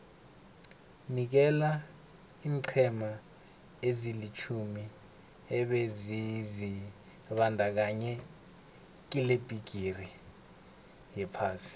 nikela iinqhema ezilitjhumi ebezizibandakanye kilebhigiri yephasi